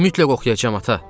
Mütləq oxuyacam, ata.